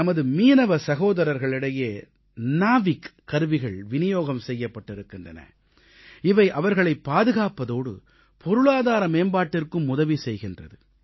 நமது மீனவ சகோதரர்களிடையே நேவிக் கருவிகள் விநியோகம் செய்யப்பட்டிருக்கின்றன இவை அவர்களைப் பாதுகாப்பதோடு பொருளாதார மேம்பாட்டிற்கும் உதவி செய்கிறது